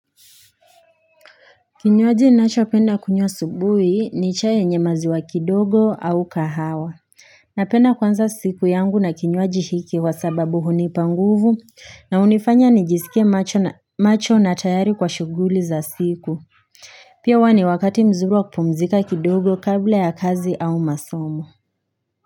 Kinywaji ninacho penda kunywa asubuhi ni chai yenye maziwa kidogo au kahawa Napenda kuanza siku yangu na kinywaji hiki wa sababu hunipa nguvu na unifanya nijisikie macho na tayari kwa shuguli za siku Pia huwa ni wakati mzuri wa kupumzika kidogo kabla ya kazi au masomo.